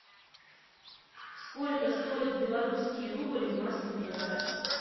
сколько стоит белорусский рубль в москве